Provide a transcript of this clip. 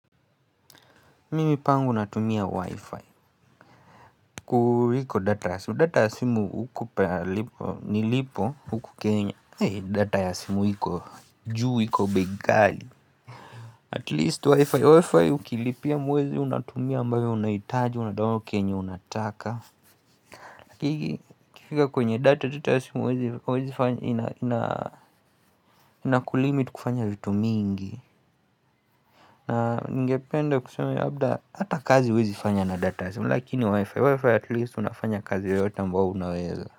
Mimi pangu natumia wi-fi kuliko data ya simu, data ya simu nilipo huku kenya data ya simu hiko juu, iko bei ghali. At least wi-fi, Wi-fi ukilipia mwezi unatumia ambayounahitaji unadownload chenye unataka kufika kwenye data status, huwezi Inakulimit kufanya vitu mingi. Na ningependa kusema hata kazi huwezi fanya na data ya simu lakini wifi, wifi atleast unafanya kazi yoyote ambao unaweza.